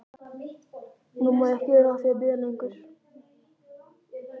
Nú má ég ekki vera að því að bíða lengur.